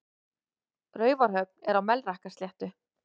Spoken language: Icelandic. Raufarhöfn er á Melrakkasléttu.